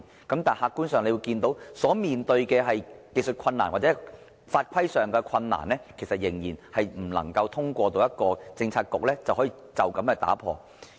但是，客觀事實是對於技術困難或法規上的困難，仍然不能通過一個政策局解決。